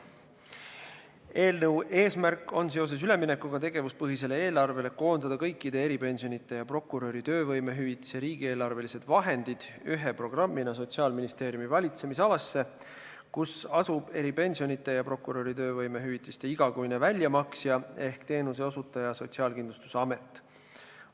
Eelnõu eesmärk on seoses üleminekuga tegevuspõhisele eelarvele koondada kõikide eripensionide ja prokuröri töövõimehüvitise riigieelarvelised vahendid ühe programmina Sotsiaalministeeriumi valitsemisalasse, kus asub eripensionide ja prokuröri töövõimehüvitise igakuine väljamaksja ehk teenuseosutaja Sotsiaalkindlustusamet.